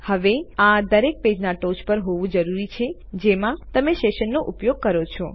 હવે આ દરેક પેજમાં ટોચ પર હોવું જરૂરી છે જેમાં તમે સેશન નો ઉપયોગ કરો છો